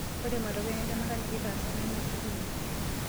Ore matokeo entemata nikitaasa nemeshukunye.